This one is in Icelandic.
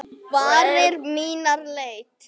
Varir mínar leita.